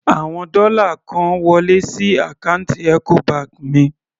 Àwọn dọ́là kan wọlé sí àkáǹtì Ecobank mi.